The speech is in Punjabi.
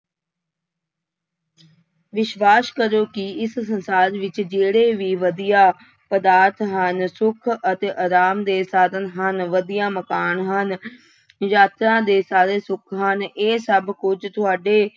ਵਿਸ਼ਵਾਸ ਕਰੋ ਕਿ ਇਸ ਸੰਸਾਰ ਵਿੱਚ ਜਿਹੜੇ ਵੀ ਵਧੀਆ ਪਦਾਰਥ ਹਨ ਸੁੱਖ ਅਤੇ ਆਰਾਮ ਦੇ ਸਾਧਨ ਹਨ, ਵਧੀਆ ਮਕਾਨ ਹਨ ਯਾਤਰਾ ਦੇ ਸਾਰੇ ਸੁੱਖ ਹਨ, ਇਹ ਸਭ ਕੁੱਝ ਤੁਹਾਡੇ